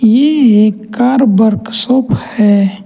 ये एक car workshop है।